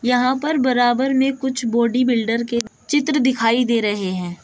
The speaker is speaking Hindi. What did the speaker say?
यहां पर बराबर में कुछ बॉडी बिल्डर के चित्र दिखाई दे रहे हैं।